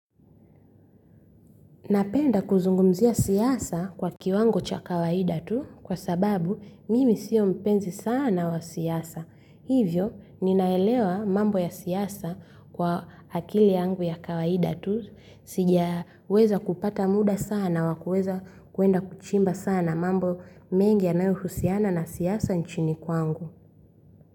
Napenda kuzungumzia siasa kwa kiwango cha kawaida tu kwa sababu mimi siyo mpenzi sana wa siasa. Hivyo, ninaelewa mambo ya siasa kwa akili yangu ya kawaida tu. Sijaweza kupata muda sana wa kwenda kuchimba sana mambo mengi yanayohusiana na siasa nchini kwangu.